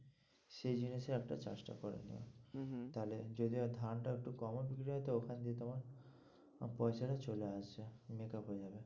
সেই জিনিসের একটা চাষটা করে নিও, হম হম তাহলে যদি আর ধানটা একটু কমও যদি হয় তো ওখান দিয়ে তোমার আহ পয়সাটা চলে আসছে, makeup হয়ে যাবে।